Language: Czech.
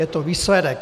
Je to výsledek.